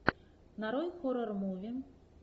нарой хоррор муви